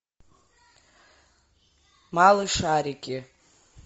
малышарики